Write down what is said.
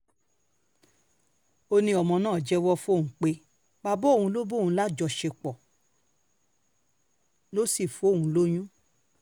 óní ọ́mọ náà jẹ́wọ́ fóun pé bàbá òun ló bá òun láṣepọ̀ ló sì fóun lóyún